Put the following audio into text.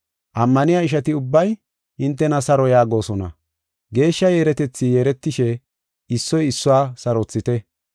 Ammaniya ishati ubbay hintena saro yaagosona. Geeshsha yeeretethi yeeretishe issoy issuwa sarothite.